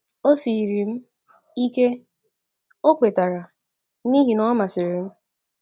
“O siiri m ike, ” O kwetara, “n’ihi na Ọ masịrị m.